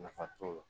Nafa t'o la